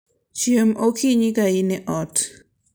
Chiem okinyi ka in e ot.